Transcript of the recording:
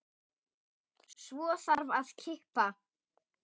Svo þarf að kippa.